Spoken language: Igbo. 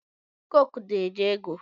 koko na-anye ego.